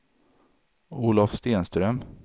Olov Stenström